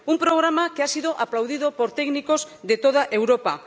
un programa que ha sido aplaudido por técnicos de toda Europa.